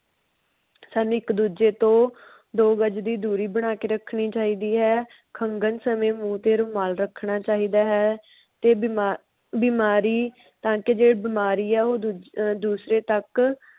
ਸਾਨੂੰ ਇੱਕ ਦੂਜੇ ਤੋਂ ਦੋ ਗਜ ਦੀ ਦੂਰੀ ਬਣਾ ਕੇ ਰੱਖਣੀ ਚਾਹੀਦੀ ਹੈ. ਖੰਗਨ ਸਮੇ ਮੂੰਹ ਤੇ ਰੁਮਾਲ ਰੱਖਣਾ ਚਾਹੀਦਾ ਹੈ ਤੇ ਬੀਮਾਬਿਮਾਰੀ ਤਾ ਕਿ ਜੇ ਬਿਮਾਰੀਆ ਉਹ ਦੁਦੂਸਰੇ ਤਕ